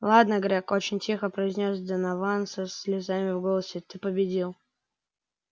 ладно грег очень тихо произнёс донован со слезами в голосе ты победил